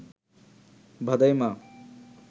ভাদাইমা